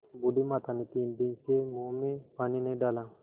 बूढ़ी माता ने तीन दिन से मुँह में पानी नहीं डाला